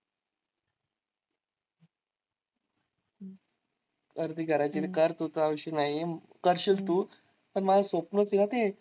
कर ते करायचे तू विषय नाहीये करशील तू पण माझं स्वप्नच आहे हा ते.